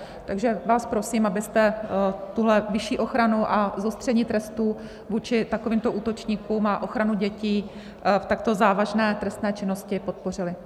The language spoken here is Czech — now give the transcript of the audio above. Takže vás prosím, abyste tuhle vyšší ochranu a zostření trestu vůči takovýmto útočníkům a ochranu dětí v takto závažné trestné činnosti podpořili.